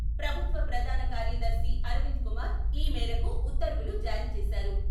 ప్రభుత్వ ప్రధాన కార్యదర్శి అరవింద్ కుమార్, ఈ మేరకు ఉత్తర్వులు జారీ చేశారు.